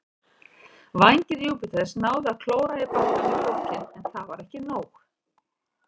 Vængir Júpiters náðu að klóra í bakkann í lokin, en það var ekki nóg.